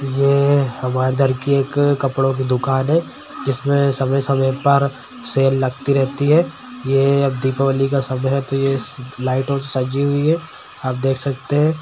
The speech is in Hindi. ये हमारे इधर की एक कपड़ो की दुकान है जिसमे समय-समय पर सेल लगती रहती है ये अब दीपावली का समय है ते ये लाइटों से सजी हुई है आप देख सकते है।